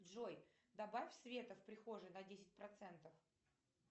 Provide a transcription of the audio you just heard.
джой добавь света в прихожей на десять процентов